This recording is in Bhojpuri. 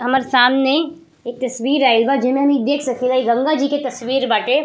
हमर सामने एक तस्वीर आइल बा। जेमे हम इ देख सकीला की इ गंगा जी के तस्वीर बाटे।